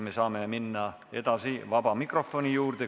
Me saame edasi minna vaba mikrofoni juurde.